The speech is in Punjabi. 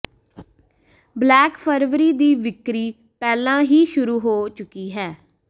ਬਲੈਕ ਫਰਵਰੀ ਦੀ ਵਿਕਰੀ ਪਹਿਲਾਂ ਹੀ ਸ਼ੁਰੂ ਹੋ ਚੁੱਕੀ ਹੈ